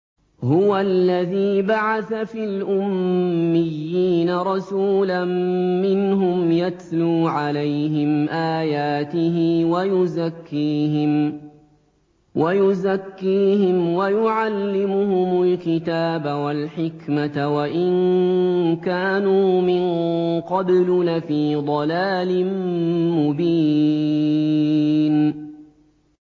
هُوَ الَّذِي بَعَثَ فِي الْأُمِّيِّينَ رَسُولًا مِّنْهُمْ يَتْلُو عَلَيْهِمْ آيَاتِهِ وَيُزَكِّيهِمْ وَيُعَلِّمُهُمُ الْكِتَابَ وَالْحِكْمَةَ وَإِن كَانُوا مِن قَبْلُ لَفِي ضَلَالٍ مُّبِينٍ